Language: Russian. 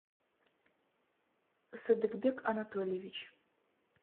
садыкбек анатольевич